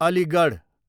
Aligarh